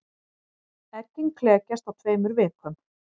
Eggin klekjast á tveimur vikum.